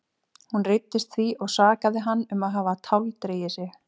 Hún reiddist því og sakaði hann um að hafa táldregið sig.